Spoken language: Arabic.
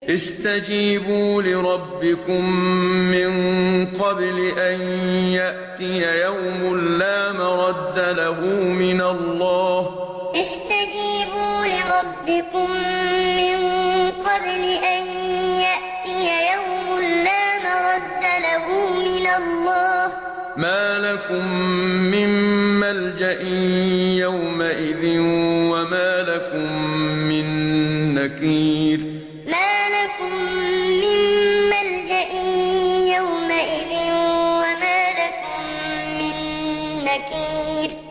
اسْتَجِيبُوا لِرَبِّكُم مِّن قَبْلِ أَن يَأْتِيَ يَوْمٌ لَّا مَرَدَّ لَهُ مِنَ اللَّهِ ۚ مَا لَكُم مِّن مَّلْجَإٍ يَوْمَئِذٍ وَمَا لَكُم مِّن نَّكِيرٍ اسْتَجِيبُوا لِرَبِّكُم مِّن قَبْلِ أَن يَأْتِيَ يَوْمٌ لَّا مَرَدَّ لَهُ مِنَ اللَّهِ ۚ مَا لَكُم مِّن مَّلْجَإٍ يَوْمَئِذٍ وَمَا لَكُم مِّن نَّكِيرٍ